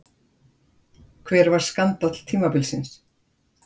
Hver var skandall tímabilsins?